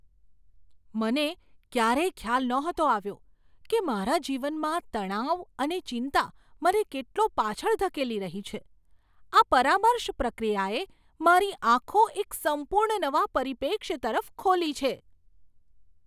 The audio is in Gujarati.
મને ક્યારેય ખ્યાલ નહોતો આવ્યો કે મારા જીવનમાં તણાવ અને ચિંતા મને કેટલો પાછળ ધકેલી રહી છે. આ પરામર્શ પ્રક્રિયાએ મારી આંખો એક સંપૂર્ણ નવા પરિપ્રેક્ષ્ય તરફ ખોલી છે!